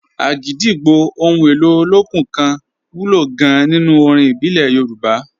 Agidigbo, ohun èlò olókùn kan wúlò gan-an nínú orin ìbílẹ̀ Yorùbá.